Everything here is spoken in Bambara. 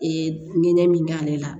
Ee nɛ min b'ale la